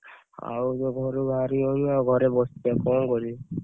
ଆଉ ତ ଘରୁ ବାହାରି ହଉନି ଆଉ ଘରେ ବସଛି ଆଉ କଣ କରିବି ?